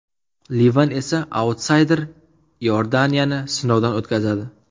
Livan esa autsayder Iordaniyani sinovdan o‘tkazadi.